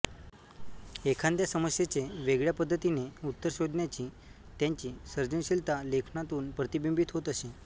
एखाद्या समस्येचे वेगळ्या पद्धतीने उत्तर शोधण्याची त्यांची सर्जनशीलता लेखनातून प्रतिबिंबित होत असे